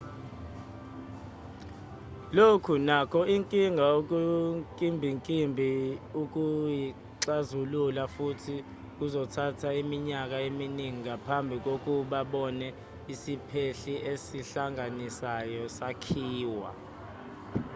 lokhu nokho inkinga okunkimbinkimbi ukuyixazulula futhi kuzothatha iminyaka eminingi ngaphambi kokuba sebone isiphehli esihlanganisayo sakhiwa